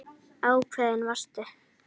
Ákveðin varstu.